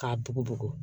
K'a bugubugu